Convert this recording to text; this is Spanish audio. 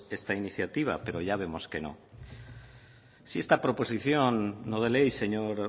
esta iniciativa pero ya vemos que no si esta proposición no de ley señor